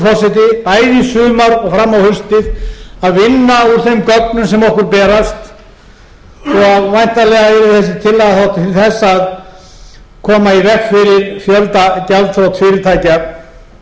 bæði í sumar og fram á haustið að vinna úr þeim gögnum sem okkur berast svo að væntanlega verði þessi tillaga þá til þess að koma í veg fyrir fjöldagjaldþrot fyrirtækja